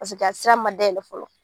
a sira ma dayɛlɛ fɔlɔ.